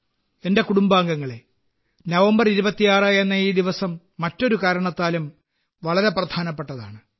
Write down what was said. എന്റെ കുടുംബാംഗങ്ങളേ നവംബർ 26എന്ന ഈ ദിവസം മറ്റൊരു കാരണത്താലും വളരെ പ്രധാനപ്പെട്ടതാണ്